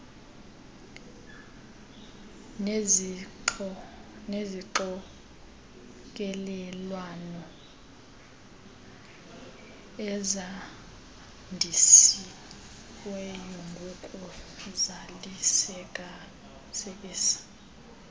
nezixokelelwano ezandisiweyo ngokuzalisekisa